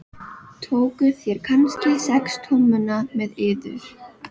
Tókuð þér kannski sex tommuna með yður?